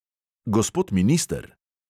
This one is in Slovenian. Gospod minister!